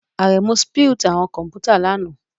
Aremu spilt awọn kọmputa lana